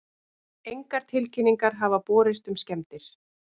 Engar tilkynningar hafa borist um skemmdir